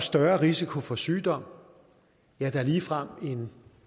større risiko for sygdom ja der er ligefrem